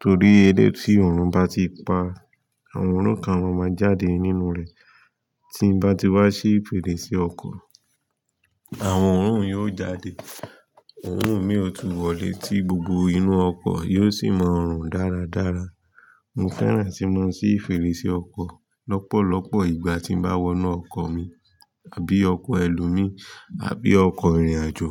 torí eleyii tí òórùn bá ti pa, àwọn oorun kan máa jáde nínú rẹ̀. Tí n bá ti wá ṣí fèrèsé ọkọ̀, àwọn òórùn yóò jáde, òórùn mi ò tú wọ le tí gbogbo inú ọkọ̀ yóò sì mọrùn dáradára. Mo fẹ́ràn tí mo ń sí fèrèsé ọkọ̀ lọ́pọ̀lọpọ̀ ìgbà tí n bá wọ inú ọkọ̀ mi àbí ọkọ̀ ẹlòmíì àbí ọkọ̀ ìrìnàjò.